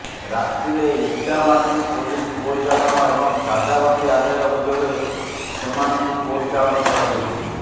ରାତିରେ ଇଟାମାଟି ପୋଲିସ ଗୋ ଚାଲାଣ ଏବଂ ଦାଦାବଟି ଆଦାୟ ଅଭିଯୋଗରେ ସେମାନଙ୍କୁ କୋର୍ଟ ଚାଲାଣ କରାଯାଇଛି